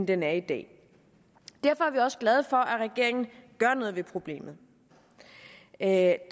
den er i dag derfor er vi også glade for at regeringen gør noget ved problemet da